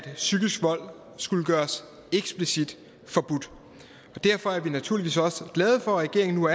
psykisk vold skulle gøres eksplicit forbudt derfor er vi naturligvis også glade for at regeringen nu